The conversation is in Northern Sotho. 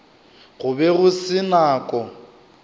go be go se nako